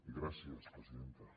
gràcies presidenta